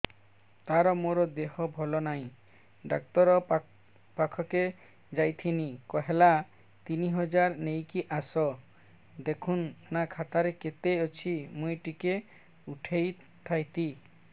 ତାର ମାର ଦେହେ ଭଲ ନାଇଁ ଡାକ୍ତର ପଖକେ ଯାଈଥିନି କହିଲା ତିନ ହଜାର ନେଇକି ଆସ ଦେଖୁନ ନା ଖାତାରେ କେତେ ଅଛି ମୁଇଁ ଟିକେ ଉଠେଇ ଥାଇତି